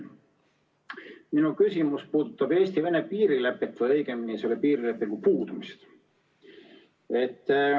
Minu küsimus puudutab Eesti-Vene piirilepet või õigemini selle puudumist.